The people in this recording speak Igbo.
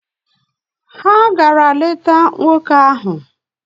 Ha gara leta nwoke ahụ.